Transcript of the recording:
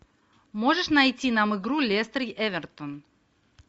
можешь найти нам игру лестер эвертон